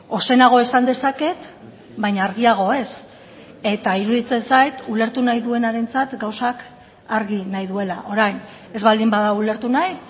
ozenago esan dezaket baina argiago ez eta iruditzen zait ulertu nahi duenarentzat gauzak argi nahi duela orain ez baldin bada ulertu nahi